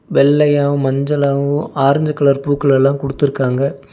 வெள்ளயாவு மஞ்சளாவு orange colour பூக்கலெல்லா குடுத்துருக்காங்க.